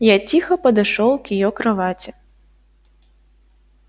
я тихо подошёл к её кровати